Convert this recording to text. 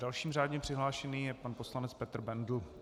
Dalším řádně přihlášeným je pan poslanec Petr Bendl.